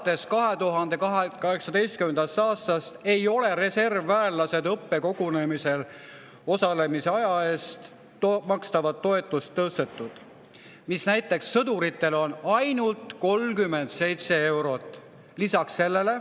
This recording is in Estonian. Peale 2018. aastat ei ole reservväelastele õppekogunemisel osalemise eest makstavat toetust tõstetud, mis näiteks sõduritel on ainult 37 eurot.